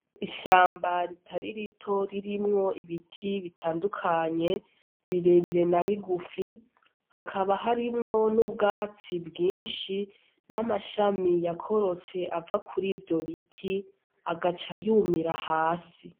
Ishamba ritari rito ririmwo ibiti bitandukanye birebire nabigufi, hakaba harimwo n'ubwatsi bwinshi n'amashami yakorotse ava kurivyo biti agaca yumira hasi.